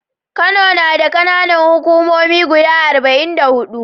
Kano nada kAna Nan hukumomi guda arba'in da hudu